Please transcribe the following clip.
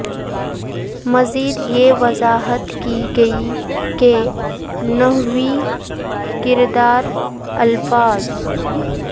مزید یہ وضاحت کی گئی کے نحوی کردار الفاظ